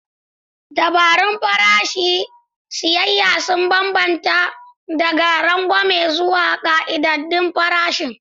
Dabarun farashin siyayya sun bambanta daga rangwame zuwa ƙayyadaddun farashin.